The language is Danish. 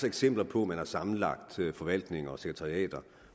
eksempler på at man har sammenlagt forvaltninger og sekretariater